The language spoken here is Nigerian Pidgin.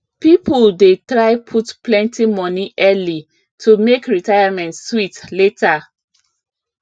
people dey try put plenty money early to make retirement sweet later